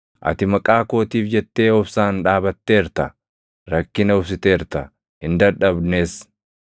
Ati maqaa kootiif jettee obsaan dhaabatteerta; rakkina obsiteerta; hin dadhabnes.